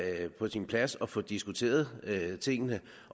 er på sin plads at få diskuteret tingene